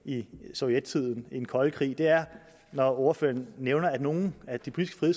sovjettiden og den kolde krig når ordføreren nævner at nogle af de politiske